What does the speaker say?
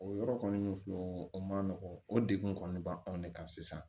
O yɔrɔ kɔni filɛ o ma nɔgɔn o degun kɔni b'anw de kan sisan